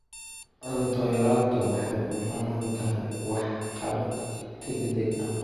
Cunto yaraantu waxay u baahan tahay waxqabad degdeg ah.